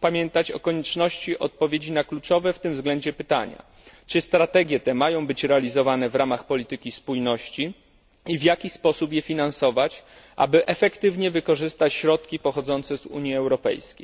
pamiętać o konieczności odpowiedzi na kluczowe w tym względzie pytania czy strategie te mają być realizowane w ramach polityki spójności i w jaki sposób je finansować, aby efektywnie wykorzystać środki pochodzące z Unii Europejskiej?